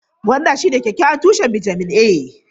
Gwanda shine kyakkyawan tushen bitamin A.